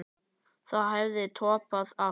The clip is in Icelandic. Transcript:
Það hefði toppað allt.